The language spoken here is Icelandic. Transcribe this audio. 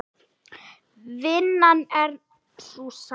Vinnan er sú sama.